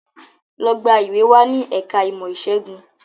Lọ gba ìwé wá ní ẹ̀ka ìmọ̀ ìṣègùn!